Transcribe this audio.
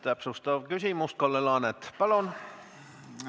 Täpsustav küsimus, Kalle Laanet, palun!